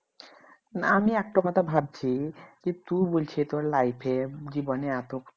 না আমি একটা কথা ভাবছি যে তুই বলছিস তোর life এ জীবনে এত